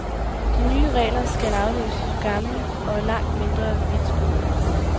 De nye regler skal afløse gamle og langt mindre vidtgående.